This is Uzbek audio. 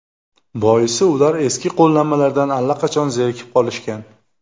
Boisi ular eski qo‘llanmalardan allaqachon zerikib qolishgan.